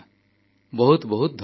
ବହୁତ ବହୁତ ଧନ୍ୟବାଦ